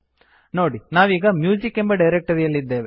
ನೋಡಿ ನಾವೀಗ ಮ್ಯೂಸಿಕ್ ಎಂಬ ಡೈರಕ್ಟರಿಯಲ್ಲಿದ್ದೇವೆ